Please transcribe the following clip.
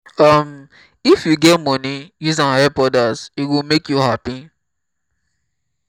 um if you get moni use am help odas e go make you hapi.